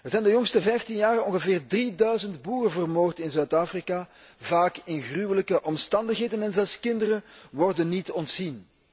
Er zijn de afgelopen vijftien jaar ongeveer drieduizend boeren vermoord in Zuid Afrika, vaak in gruwelijke omstandigheden, en zelfs kinderen worden niet ontzien.